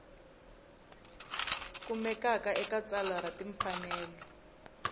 kumekaka eka tsalwa ra timfanelo